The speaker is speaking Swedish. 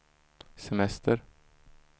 semester